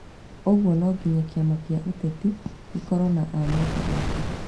Ũguo no nginya kĩama kĩa ũteti gĩkorwo na amemba aingĩ